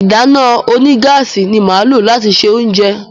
ìdáná onígáàsì ní má lo lati ṣe oúnjẹ.